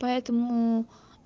поэтому